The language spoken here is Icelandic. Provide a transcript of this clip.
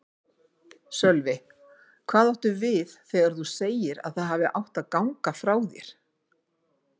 Sölvi: Hvað áttu við þegar þú segir að það hafi átt að ganga frá þér?